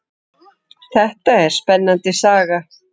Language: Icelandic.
Þetta er spennandi saga.